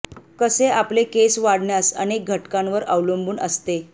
कसे आपले केस वाढण्यास अनेक घटकांवर अवलंबून असते